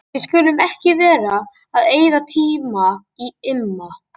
Við skulum ekki vera að eyða tíma í Imma.